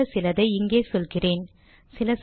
பயனுள்ள சிலதை இங்கே சொல்கிறேன்